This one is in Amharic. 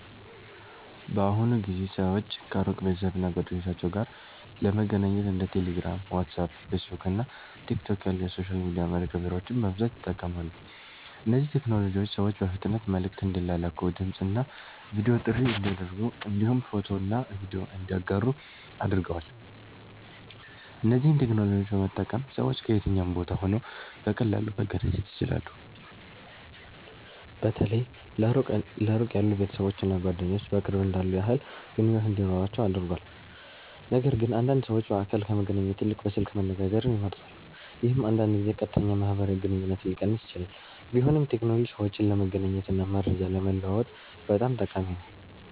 በአሁኑ ጊዜ ሰዎች ከሩቅ ቤተሰብ እና ጓደኞቻቸው ጋር ለመገናኘት እንደ ቴሌግራም፣ ዋትስአፕ፣ ፌስቡክ እና ቲክቶክ ያሉ የሶሻል ሚዲያ መተግበሪያዎችን በብዛት ይጠቀማሉ። እነዚህ ቴክኖሎጂዎች ሰዎች በፍጥነት መልዕክት እንዲላላኩ፣ ድምፅ እና ቪዲዮ ጥሪ እንዲያደርጉ እንዲሁም ፎቶና ቪዲዮ እንዲያጋሩ አድርገዋል። እነዚህን ቴክኖሎጂዎች በመጠቀም ሰዎች ከየትኛውም ቦታ ሆነው በቀላሉ መገናኘት ይችላሉ። በተለይ ለሩቅ ያሉ ቤተሰቦች እና ጓደኞች በቅርብ እንዳሉ ያህል ግንኙነት እንዲኖራቸው አድርጓል። ነገርግን አንዳንድ ሰዎች በአካል ከመገናኘት ይልቅ በስልክ መነጋገርን ይመርጣሉ፣ ይህም አንዳንድ ጊዜ ቀጥተኛ ማህበራዊ ግንኙነትን ሊቀንስ ይችላል። ቢሆንም ቴክኖሎጂ ሰዎችን ለመገናኘት እና መረጃ ለመለዋወጥ በጣም ጠቃሚ ነው።